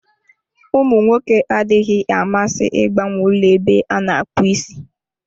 Ụmụ nwoke adịghị amasị ịgbanwe ụlọ ebe a na-akpụ isi.